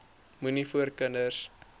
moenie voor kinders